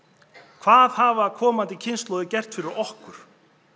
hvað hafa komandi kynslóðir gert fyrir okkur